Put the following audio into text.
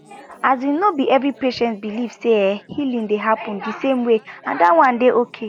asin no be every patient believe say ehh healing dey happen di same way and that one dey okay